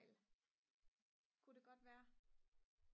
ku det godt være